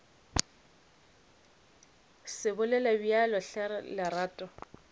se bolele bjalo hle lerato